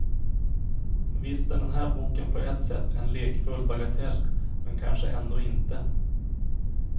Visst är den här boken på ett sätt en lekfull bagatell, men kanske ändå inte.